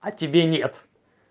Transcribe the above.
а тебе нет